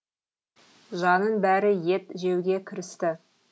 жанның бәрі ет жеуге кірісті